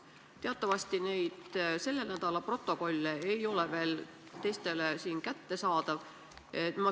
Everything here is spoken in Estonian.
Teatavasti ei ole selle nädala protokollid teistele siin veel kättesaadavad.